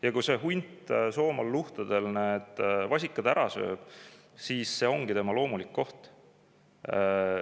Ja kui hunt Soomaa luhtadel vasikad ära sööb, siis see ongi loomulik, see on tema koht.